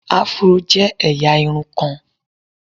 Afuro je eya irun kan